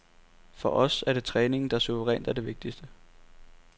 For os er det træningen, der suverænt er det vigtigste.